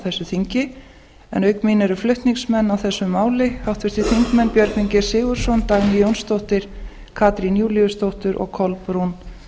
þessu þingi en auk mín eru flutningsmenn á þessu máli háttvirtir þingmenn björgvin g sigurðsson dagný jónsdóttir katrín júlíusdóttir og kolbrún